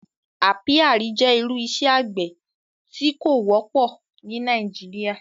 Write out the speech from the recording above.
Àpíàrí jẹ́ irú ìṣẹ̀ àgbẹ̀ tó kò wọ̀pọ ni Nàìjíríà